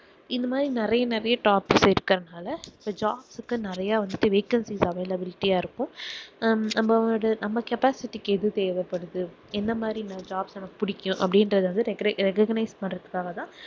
இந்த மாதிரி நிறைய நிறைய jobs இருக்குறதனால இந்த jobs கு வந்துட்டு நிறைய vacancies availability ஆ இருக்கும் அஹ் நம்ம அது~ capacity கு எது தேவைப்படுது என்ன மாதிரி jobs நமக்கு புடிக்கும் அப்படின்றதை வந்து recog~ recognize பண்ணுறத்துக்காக தான்